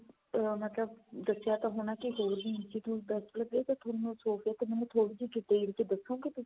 ਮਤਲਬ ਦੱਸਿਆ ਤਾਂ ਹੋਣਾ ਕੀ ਹੋਰ ਵੀ institute best ਨੇ ਤਾਂ ਤੁਹਾਨੂੰ Sofia ਮੈਨੂੰ ਥੋੜੀ ਜੀ detail ਚ ਦਸੋਂਗੇ ਤੁਸੀਂ